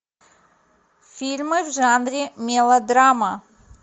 фильмы в жанре мелодрама